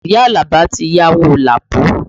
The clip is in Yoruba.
Iya Alaba ti yáwó Lapo